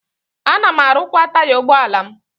Ana m arụkwa taya ụgbọala m.